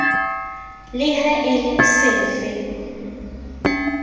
le ha e le sefe